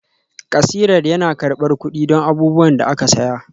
Kasirar yana karɓar kuɗi don abubuwan da aka saya